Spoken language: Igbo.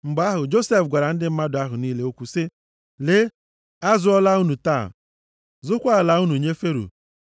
Mgbe ahụ, Josef gwara ndị mmadụ ahụ niile okwu sị, “Lee, azụọla unu taa, zụkwaa a ala unu nye Fero.